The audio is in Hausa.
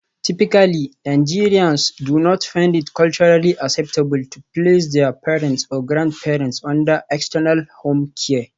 Typically Nigerians do not find it culturally acceptable to place their parents or grandparents under 'external' home care.